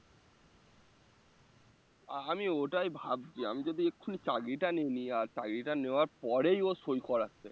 আমি ওটাই ভাবছি আমি যদি এক্ষুনি চাকরিটা নিয়ে নিই আর চাকরিটা নেওয়ার পরেই ও সই করাচ্ছে